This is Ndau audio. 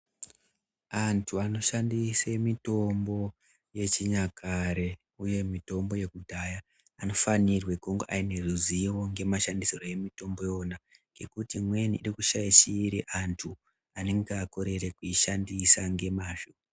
Antu anoshandise mitombo wechinyakare, uye nemitombo yekudhaya, anofanirwe kunge ane ruzivo ngemashandisirwe emitombo iwona, ngekuti imweni iri kushaishire antu anenge akorere kuishandise ngemazvo.